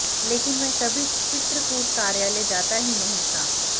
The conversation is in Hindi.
लेकिन वह कभी चित्रकूट कार्यालय जाता ही नहीं था